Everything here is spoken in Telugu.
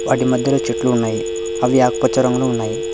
వాటి మధ్యలో చెట్లు ఉన్నాయి అవి ఆకుపచ్చ రంగులో ఉన్నాయి.